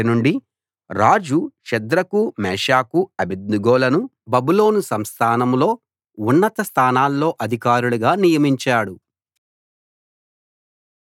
అప్పటి నుండి రాజు షద్రకు మేషాకు అబేద్నెగోలను బబులోను సంస్థానంలో ఉన్నత స్థానాల్లో అధికారులుగా నియమించాడు